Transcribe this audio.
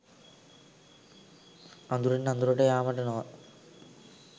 අඳුරෙන් අඳුරට යාමට නොව